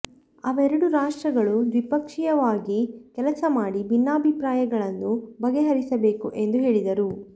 ಅವರೆಡೂ ರಾಷ್ಟ್ರಗಳು ದ್ವಿಪಕ್ಷೀಯವಾಗಿ ಕೆಲಸ ಮಾಡಿ ಭಿನ್ನಾಭಿಪ್ರಾಯಗಳನ್ನು ಬಗೆಹರಿಸಬೇಕು ಎಂದು ಹೇಳಿದರು